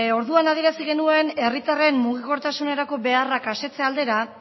orduan adieraz genuen herritarren mugikortasunerako beharrak asetze aldera